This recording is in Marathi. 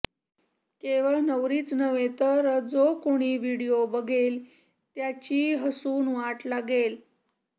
केवळ नवरीच नव्हे तर जो कुणी व्हिडीयो बघेल त्याची हसून वाट लागेल